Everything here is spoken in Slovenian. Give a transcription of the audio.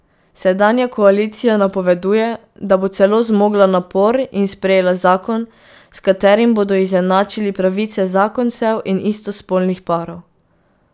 Sedanja koalicija napoveduje, da bo celo zmogla napor in sprejela zakon, s katerim bodo izenačili pravice zakoncev in istospolnih parov.